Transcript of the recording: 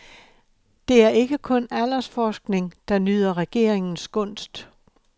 Det er ikke kun aldersforskning, der nyder regeringens gunst.